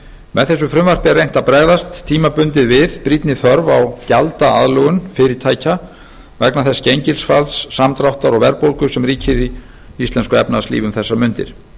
með þessu frumvarpi er reynt að bregðast tímabundið við brýnni þörf á gjaldaaðlögun fyrirtækja vegna þess gengisfalls samdráttar og verðbólgu sem ríkir í íslensku efnahagslífi um þessar mundir